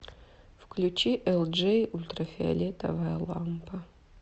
включи элджей ультрафиолетовая лампа